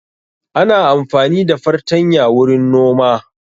Ana amfani da fartanya wurin noma